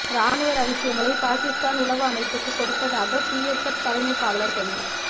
ராணுவ ரகசியங்களை பாகிஸ்தான் உளவு அமைப்புக்கு கொடுத்ததாக பிஎஸ்எப் தலைமை காவலர் கைது